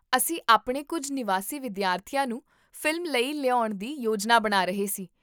ਅਸੀਂ ਆਪਣੇ ਕੁੱਝ ਨਿਵਾਸੀ ਵਿਦਿਆਰਥੀਆਂ ਨੂੰ ਫ਼ਿਲਮ ਲਈ ਲਿਆਉਣ ਦੀ ਯੋਜਨਾ ਬਣਾ ਰਹੇ ਸੀ